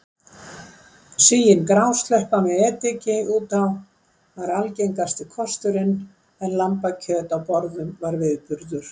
Sigin grásleppa með ediki út á var algengasti kosturinn en lambakjöt á borðum var viðburður.